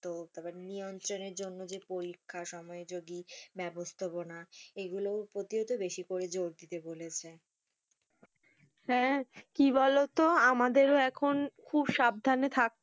তো নিয়ন্ত্রণের জন্য যে, পরীক্ষা, সময়যোগী, ব্যবস্থাপনা এইগুলোও প্রতিহতে বেশি করে জোর দিতে বলেছে হ্যাঁ, কি বলতো আমাদেরও খুব সাবধানে থাকতে হবে,